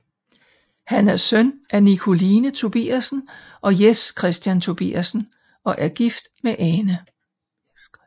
Han er søn af Nikoline Tobiassen og Jes Kristian Tobiassen og er gift med Ane